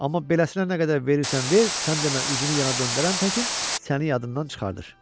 Amma beləsinə nə qədər verirsən ver, sən demə üzünü yana döndərən təkin səni yadından çıxardır.